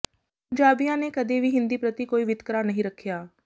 ਪੰਜਾਬੀਆਂ ਨੇ ਕਦੇ ਵੀ ਹਿੰਦੀ ਪ੍ਰਤੀ ਕੋਈ ਵਿਤਕਰਾ ਨਹੀਂ ਰੱਖ਼ਿਆ